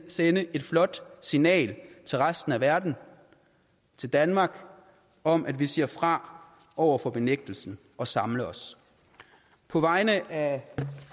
sende et flot signal til resten af verden og til danmark om at vi siger fra over for benægtelsen og samler os på vegne af